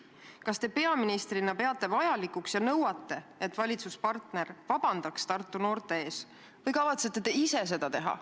Kas te peaministrina peate vajalikuks ja nõuate, et valitsuspartner vabandaks Tartu noorte ees, või kavatsete seda ise teha?